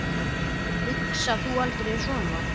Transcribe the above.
Hugsar þú aldrei svona?